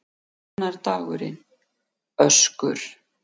Annar dagurinn: Öskur.